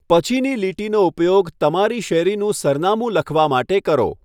પછીની લીટીનો ઉપયોગ તમારી શેરીનું સરનામું લખવા માટે કરો.